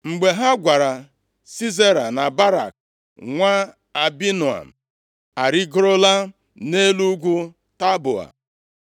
Mgbe ha gwara Sisera na Barak nwa Abinoam arịgorola nʼelu ugwu Taboa,